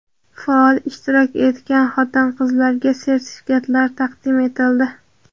faol ishtirok etgan xotin-qizlarga sertifikatlar taqdim etildi.